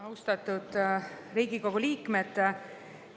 Austatud Riigikogu liikmed!